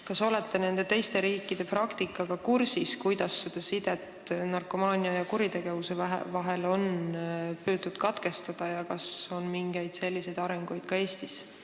Kas te olete kursis nende riikide praktikaga, kuidas nad on sidet narkomaania ja kuritegevuse vahel püüdnud katkestada, ja kas mingeid selliseid arenguid on ka Eestis?